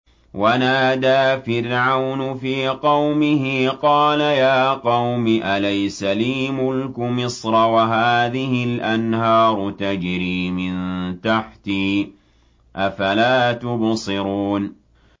وَنَادَىٰ فِرْعَوْنُ فِي قَوْمِهِ قَالَ يَا قَوْمِ أَلَيْسَ لِي مُلْكُ مِصْرَ وَهَٰذِهِ الْأَنْهَارُ تَجْرِي مِن تَحْتِي ۖ أَفَلَا تُبْصِرُونَ